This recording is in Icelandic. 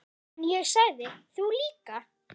En ég sagði: Þú líka.